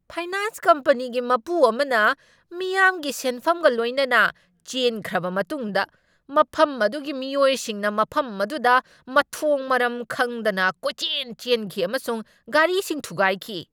Finance ꯀꯝꯄꯅꯤꯒꯤ ꯃꯄꯨ ꯑꯃꯅ ꯃꯤꯌꯥꯝꯒꯤ ꯁꯦꯟꯐꯝꯒ ꯂꯣꯏꯅꯅ ꯆꯦꯟꯈ꯭ꯔꯕ ꯃꯇꯨꯡꯗ ꯃꯐꯝ ꯑꯗꯨꯒꯤ ꯃꯤꯑꯣꯏꯁꯤꯡꯅ ꯃꯐꯝ ꯑꯗꯨꯗ ꯃꯊꯣꯡ ꯃꯔꯝ ꯈꯪꯗꯅ ꯀꯣꯏꯆꯦꯟ ꯆꯦꯟꯈꯤ ꯑꯃꯁꯨꯡ ꯒꯥꯔꯤꯁꯤꯡ ꯊꯨꯒꯥꯏꯈꯤ ꯫